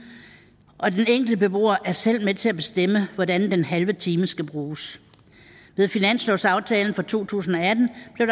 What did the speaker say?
og den enkelte beboer er selv med til at bestemme hvordan den halve time skal bruges med finanslovsaftalen for to tusind